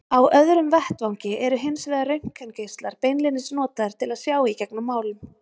Á öðrum vettvangi eru hins vegar röntgengeislar beinlínis notaðir til að sjá í gegnum málm.